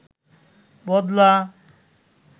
বদলা